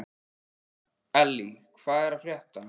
Elly, hvað er að frétta?